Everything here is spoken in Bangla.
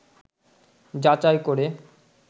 যাচাই করে